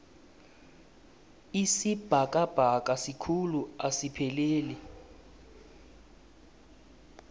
isibhakabhaka sikhulu asipheleli